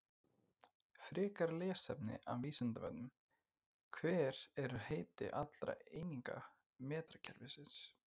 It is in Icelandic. Frekara lesefni af Vísindavefnum: Hver eru heiti allra eininga metrakerfisins?